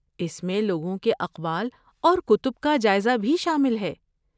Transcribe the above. اس میں لوگوں کے اقوال اور کتب کا جائزہ بھی شامل ہیں۔